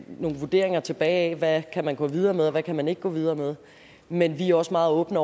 vurderinger tilbage af hvad man kan gå videre med og hvad man ikke kan gå videre med men vi er også meget åbne